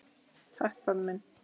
Takk pabbi minn.